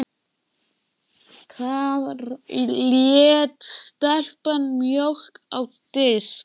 Þar lét stelpan mjólk á disk.